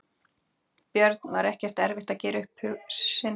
Björn: Var ekkert erfitt að gera upp sinn hug?